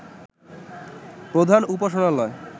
প্রধান উপাসনালয়